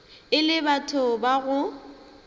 e le batho ba go